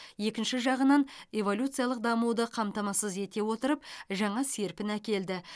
екінші жағынан эволюциялық дамуды қамтамасыз ете отырып жаңа серпін әкелді